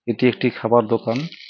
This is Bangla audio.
এটি একটি খাবার দোকান।